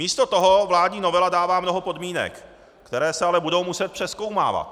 Místo toho vládní novela dává mnoho podmínek, které se ale budou muset přezkoumávat.